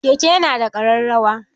Keke ya na da ƙararrawa.